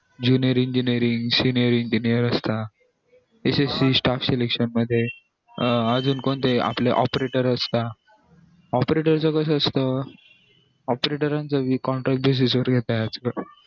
junior engineering senior engineer इथे staff selection मध्ये अजून कोणते आपले operator opertor च कसं असत operators ना contract bases वर घेतात